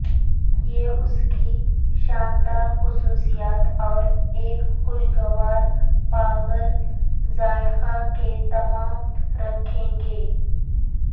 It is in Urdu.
یہ اس کی شاندار خصوصیات اور ایک خوشگوار پاگل ذائقہ کے تمام رکھیں گے